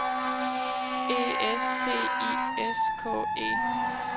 E S T I S K E